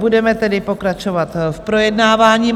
Budeme tedy pokračovat v projednávání.